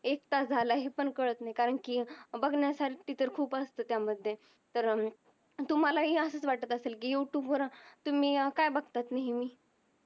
एक तास झाल आहे पण कळत नाही कारण कि बगण्या साटी तर खूप अस्तात त्या मधे तर तुम्हाला असच वाटत असेल कि युटूब वर तुम्ही काय बगतात नेहमी